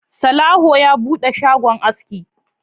Salawu ya buɗe shagon aski